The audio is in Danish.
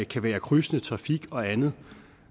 kan være krydsende trafik og andet